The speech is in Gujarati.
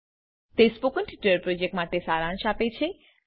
તે સ્પોકન ટ્યુટોરીયલ પ્રોજેક્ટનો સારાંશ આપે છે